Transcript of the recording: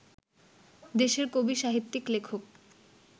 দেশের কবি-সাহিত্যিক-লেখক